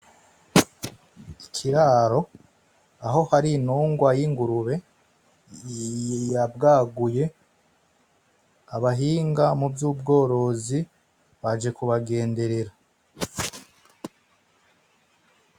Ikirari aho hari intungwa y'ingurube yabwaguye abhinga mu vy'ubworozi baje kubagenderera.